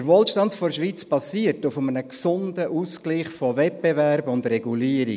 Der Wohlstand der Schweiz basiert auf einem gesunden Ausgleich von Wettbewerb und Regulierung.